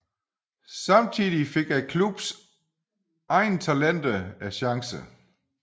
Samtidig fik klubbens egne talenter chancen